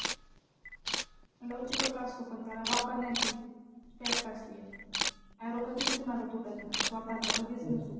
लवचिकचं असतो पण त्याला वापरण्याची tact असते एक arrow कधीच कुणाचा तुटत नाही स्वतःचा कधीच नसतो तो.